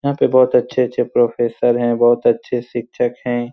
यहाँ पे बहुत अच्छे अच्छे प्रोफेसर हैं बहुत अच्छे शिक्षक हैं।